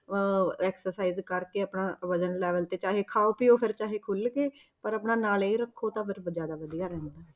ਅਹ exercise ਕਰਕੇ ਆਪਣਾ ਵਜ਼ਨ level ਤੇ ਚਾਹੇ ਖਾਓ ਪੀਓ ਫਿਰ ਚਾਹੇ ਖੁੱਲ ਕੇ ਪਰ ਆਪਣਾ ਨਾਲ ਇਹ ਰੱਖੋ ਤਾਂ ਫਿਰ ਜ਼ਿਆਦਾ ਵਧੀਆ ਰਹਿੰਦਾ ਹੈ।